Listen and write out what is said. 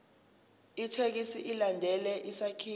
ithekisthi ilandele isakhiwo